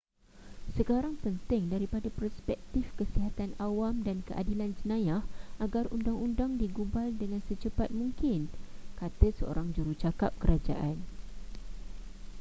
sekarang penting daripada perspektif kesihatan awam dan keadilan jenayah agar undang-undang digubal dengan secepat mungkin kata seorang jurucakap kerajaan